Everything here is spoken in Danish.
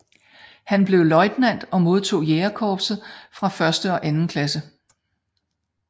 Han blev løjtnant og modtog Jernkorset af første og anden klasse